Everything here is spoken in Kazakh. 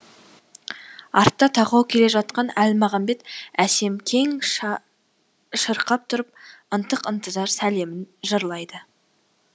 артта тақау келе жатқан әлмағамбет әсем кең шырқап тұрып ынтық ынтызар сәлемін жырлайды